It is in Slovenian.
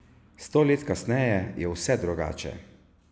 Sto let kasneje je vse drugače.